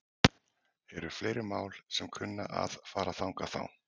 Eru fleiri mál sem að kunna að fara þangað þá?